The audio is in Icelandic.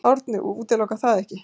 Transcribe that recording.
Árni útilokar það ekki.